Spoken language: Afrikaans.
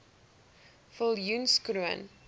viljoenskroon